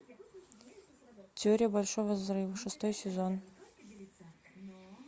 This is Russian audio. теория большого взрыва шестой сезон